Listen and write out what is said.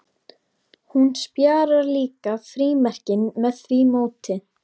Hún sparar líka frímerkin með því móti.